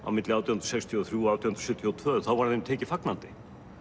milli átján hundruð sextíu og þrjú og átján hundruð sjötíu og tvö var þeim tekið fagnandi